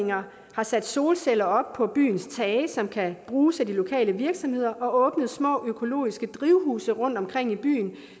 har sat solceller op på byens tage som kan bruges af de lokale virksomheder og åbnet små økologiske drivhuse rundtomkring i byen